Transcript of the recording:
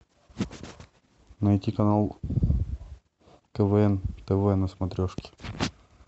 найти канал квн тв на смотрешке